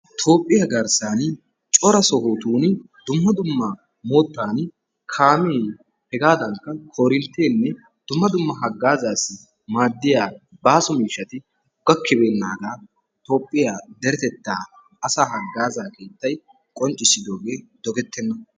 Toophphiyaa garssani cora sohotuni dumma dumma moottani kaame hegaadankka korinttene dumma dumma haggazzasi maadiya baaso miishshatti gakkibenaga toophphiyaa deretetta asa haggazaa keettay qonccissidoge dogetena.